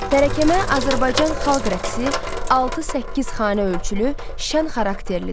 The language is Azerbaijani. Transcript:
Tərəkəmə Azərbaycan xalq rəqsi altı-səkkiz xanə ölçülü, şən xarakterlidir.